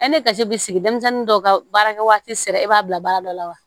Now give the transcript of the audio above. kasi bi sigi denmisɛnnin dɔw ka baarakɛ waati sera e b'a bila baara dɔ la wa